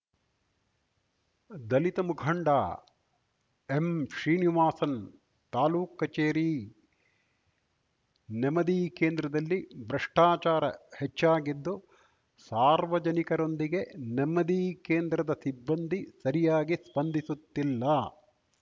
ದಲಿತ ಮುಖಂಡ ಎಂಶ್ರೀನಿವಾಸನ್‌ ತಾಲೂಕ್ ಕಚೇರಿ ನೆಮದಿ ಕೇಂದ್ರದಲ್ಲಿ ಭ್ರಷ್ಟಾಚಾರ ಹೆಚ್ಚಾಗಿದ್ದು ಸಾರ್ವಜನಿಕರೊಂದಿಗೆ ನೆಮದಿ ಕೇಂದ್ರದ ಸಿಬ್ಬಂದಿ ಸರಿಯಾಗಿ ಸ್ಪಂದಿಸುತ್ತಿಲ್ಲ